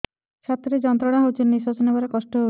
ଛାତି ରେ ଯନ୍ତ୍ରଣା ହେଉଛି ନିଶ୍ଵାସ ନେବାର କଷ୍ଟ ହେଉଛି